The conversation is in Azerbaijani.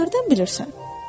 “Sən hardan bilirsən?”